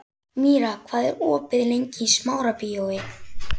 Míra, hvað er opið lengi í Smárabíói?